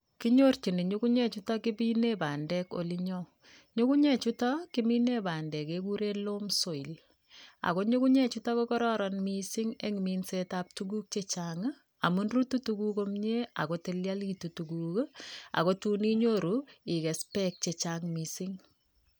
Kinyorchini ngungunyechuto kimine bandek olinyo, nyungunyek chuto kimine bandek kekure loam soil ako nyungunyek chuto ko kararan mising eng minsetab tuguk chechang amun rutu tuguk komnye ako tilialitu tuguk ako tun inyoru ikees beek chechang mising.